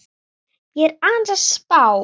Ég er aðeins að spá.